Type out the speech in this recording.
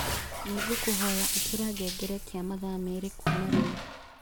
nĩ ngũkũhoya ĩkĩra ngengerekia mathaa merĩ kuuma rĩu